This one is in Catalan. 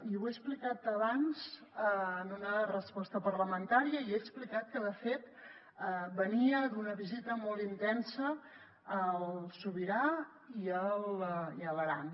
ho he explicat abans en una resposta parlamentària i he explicat que de fet venia d’una visita molt intensa al sobirà i a l’aran